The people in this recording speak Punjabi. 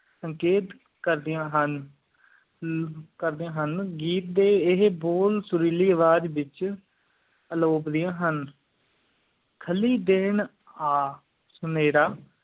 ਸੰਕੇਤ ਕਰਦਿਆਂ ਹਨ ਕਰਦਿਆਂ ਹਨ ਗੀਤ ਡੇ ਆ ਹਾਯ ਬੋਲ ਸੁਰੀਲੀ ਆਵਾਜ਼ ਵਿਚ ਅਲੋਕਿੱਦਿਆ ਹਨ ਖਾਲੀ ਦਿਨ ਆ ਸੁਮੀਰਾ